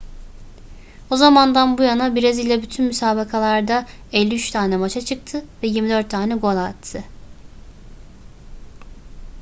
o zamandan bu yana brezilya bütün müsabakalarda 53 tane maça çıktı ve 24 tane gol attı